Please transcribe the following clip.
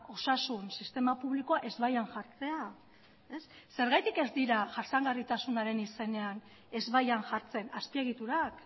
osasun sistema publikoa ezbaian jartzea zergatik ez dira jasangarritasunaren izenean ezbaian jartzen azpiegiturak